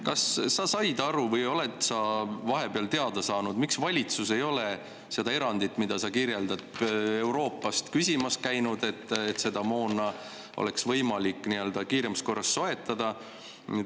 Kas sa said aru või oled sa vahepeal teada saanud, miks valitsus ei ole seda erandit, mida sa kirjeldad, Euroopast küsimas käinud, et seda moona oleks võimalik kiiremas korras soetada?